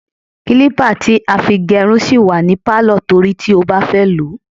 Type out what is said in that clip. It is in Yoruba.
Kílípà tí a fi gérun sì wà ní Pálọ̀ torí tí ó bá fẹ́ lòó.